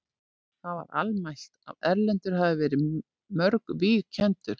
Það var almælt að Erlendur hafði verið við mörg víg kenndur.